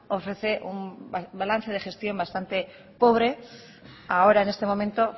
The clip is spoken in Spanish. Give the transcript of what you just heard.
ofrece un balance de gestión bastante pobre ahora en este momento